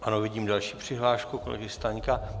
Ano, vidím další přihlášku kolegy Staňka.